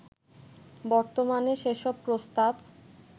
বর্তমানে সেসব প্রস্তাব